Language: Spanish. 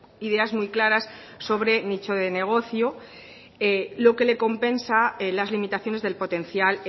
ideas muy claras sobre nicho de negocio lo que le compensa las limitaciones del potencial